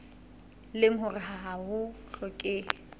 leng hore ha ho hlokehe